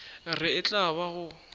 re e tla ba go